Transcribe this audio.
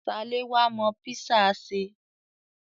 Ṣaléwá mọ písà ṣe.